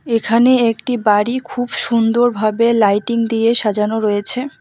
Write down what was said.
এখানে একটি বাড়ি খুব সুন্দর ভাবে লাইটিং দিয়ে সাজানো রয়েছে।